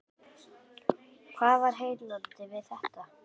Hvað er heillandi við þetta?